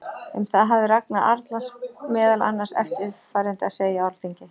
Um það hafði Ragnar Arnalds meðal annars eftirfarandi að segja á Alþingi